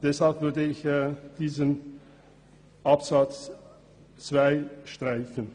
Daher würde ich den Absatz 2 streichen.